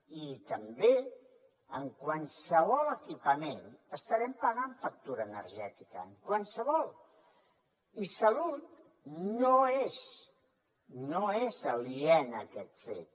i també en qualsevol equipament estarem pagant factura energètica en qualsevol i salut no és aliena a aquest fet